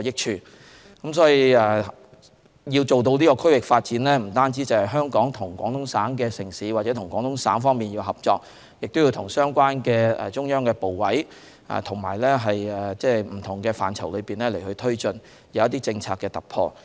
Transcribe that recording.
所以，要做到區域發展，香港不但要和廣東省城市或廣東省合作，亦要與相關的中央部委在不同範疇推進政策的突破。